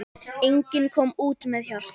Enginn kom út með hjarta.